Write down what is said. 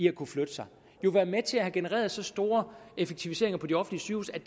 at kunne flytte sig jo være med til at have genereret så store effektiviseringer på de offentlige